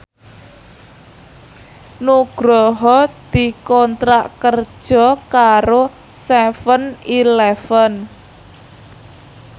Nugroho dikontrak kerja karo seven eleven